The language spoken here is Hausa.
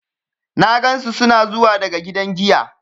Na gansu suna zuwa daga gidan giya.